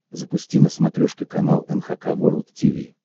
запусти на смотрешке канал эн эйч кей волд ти ви